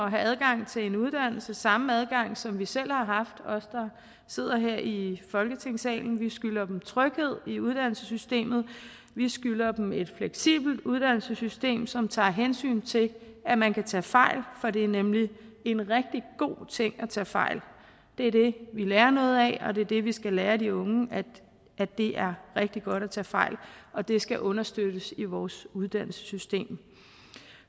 at have adgang til en uddannelse samme adgang som vi selv har haft os der sidder her i folketingssalen vi skylder dem tryghed i uddannelsessystemet vi skylder dem et fleksibelt uddannelsessystem som tager hensyn til at man kan tage fejl for det er nemlig en rigtig god ting at tage fejl det er det vi lærer noget af og det er det vi skal lære de unge at det er rigtig godt at tage fejl og det skal understøttes i vores uddannelsessystem